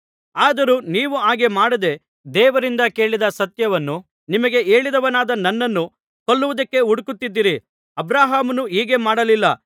ಆದರೂ ನೀವು ಹಾಗೆ ಮಾಡದೇ ದೇವರಿಂದ ಕೇಳಿದ ಸತ್ಯವನ್ನು ನಿಮಗೆ ಹೇಳಿದವನಾದ ನನ್ನನ್ನು ಕೊಲ್ಲುವುದಕ್ಕೆ ಹುಡುಕುತ್ತಿದ್ದೀರಿ ಅಬ್ರಹಾಮನು ಹೀಗೆ ಮಾಡಲಿಲ್ಲ